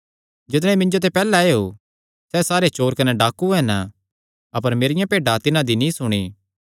जितणे मिन्जो ते पैहल्ले आएयो सैह़ सारे चोर कने डाकू हन अपर मेरियां भेड्डां तिन्हां दी नीं सुणी